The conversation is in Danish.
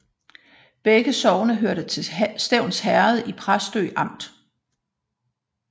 Begge sogne hørte til Stevns Herred i Præstø Amt